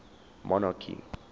monarchy